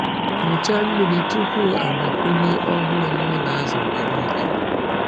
Nyochaa mmiri tupu agbakwunye ọhụrụ n’ụlọ azụ mgbe niile.